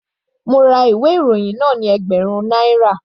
Mo ra ìwé ìròyìn náà ni ẹgbẹ̀rún náírà.